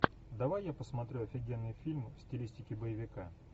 давай я посмотрю офигенный фильм в стилистике боевика